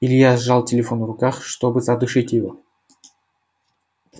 илья сжал телефон в руках чтобы задушить его